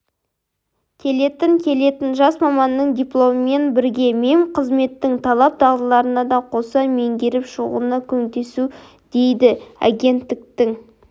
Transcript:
келетін келетін жас маманның дипломымен бірге мемқызметтің талап-дағдыларын да қоса меңгеріп шығуына көмектесу дейді агенттіктің